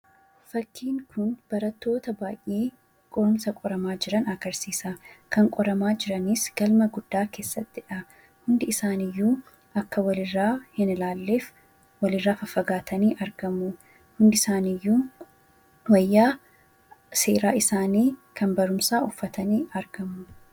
Fakkiin kun barattoota baayyee qorumsa qoraman agarsiisa. Kan qoramaa jiranis galma guddaa keessattidha. Hundi isaaniiyyu akka walirraa hin ilaalleef walirraa faffagaatanii argamu. Hundi isaaniiyyuu wayyaa seeraa isaanii uffatanii argamu.